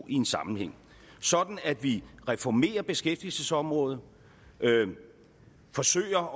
i en sammenhæng sådan at vi reformerer beskæftigelsesområdet forsøger